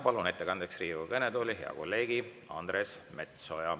Palun ettekandjaks Riigikogu kõnetooli hea kolleegi Andres Metsoja.